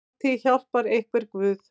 Altíð hjálpar einhver guð.